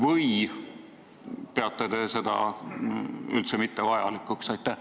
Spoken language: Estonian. Või ei pea te seda üldse vajalikuks?